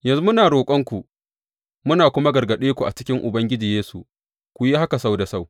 Yanzu muna roƙonku muna kuma gargaɗe ku a cikin Ubangiji Yesu ku yi haka sau da sau.